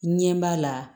Ɲɛ b'a la